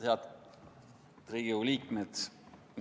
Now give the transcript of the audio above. Head Riigikogu liikmed!